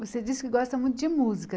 Você disse que gosta muito de música.